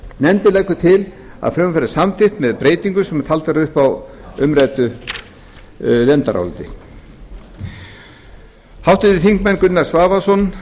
nefndin leggur til að frumvarpið verði samþykkt með eftirfarandi breytingum sem taldar eru upp á umræddu nefndaráliti háttvirtir þingmenn gunnar svavarsson